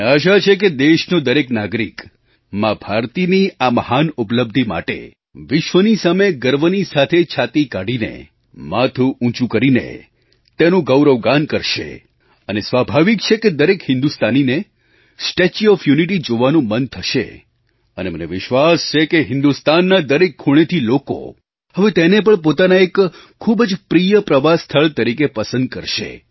મને આશા છે કે દેશનો દરેક નાગરિકમા ભારતીની આ મહાન ઉપલબ્ધિ માટે વિશ્વની સામે ગર્વની સાથે છાતી કાઢીને માથું ઊંચું કરીને તેનું ગૌરવગાન કરશે અને સ્વાભાવિક છે કે દરેક હિન્દુસ્તાનીને સ્ટેચ્યુ ઓએફ યુનિટી જોવાનું મન થશે અને મને વિશ્વાસ છે કે હિન્દુસ્તાનના દરેક ખૂણેથી લોકો હવે તેને પણ પોતાના એક ખૂબ જ પ્રિય પ્રવાસ સ્થળ તરીકે પસંદ કરશે